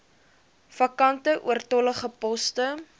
vakante oortollige poste